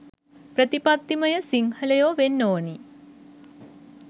ප්‍රතිපත්තිමය සිංහලයෝ වෙන්න ඕනි